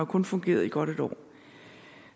kun fungeret i godt et år